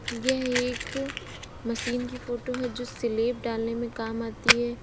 यह एक मशीन की फोटो है जो स्लिप डालने में काम आती है।